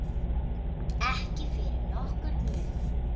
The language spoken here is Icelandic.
Ekki fyrir nokkurn mun.